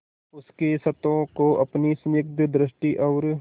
उसके क्षतों को अपनी स्निग्ध दृष्टि और